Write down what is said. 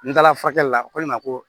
N taala furakɛli la ko ne ma ko